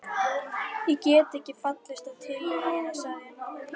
Ég get ekki fallist á tillögur þínar sagði ég.